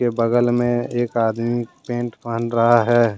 बगल में एक आदमी पेंट पहन रहा है।